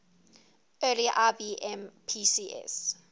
early ibm pcs